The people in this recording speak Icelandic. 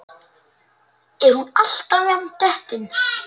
Er hún alltaf jafn dettin?